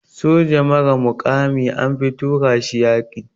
Soja mara mukami anfi tura shi yaƙi.